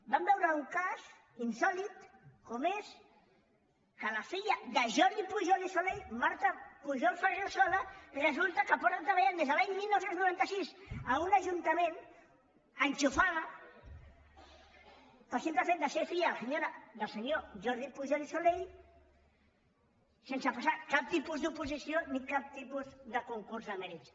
vam veure un cas insòlit com és que la filla de jordi pujol i soley marta pujol ferrusola resulta que porta treballant des de l’any dinou noranta sis a un ajuntament enxufada pel simple fet de ser filla del senyor jordi pujol i soley sense pas·sar cap tipus d’oposició ni cap tipus de concurs de mè·rits